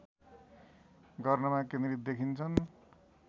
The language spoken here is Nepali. गर्नमा केन्द्रित देखिन्छन्